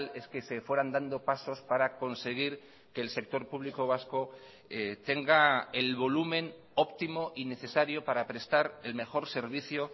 es que se fueran dando pasos para conseguir que el sector público vasco tenga el volumen óptimo y necesario para prestar el mejor servicio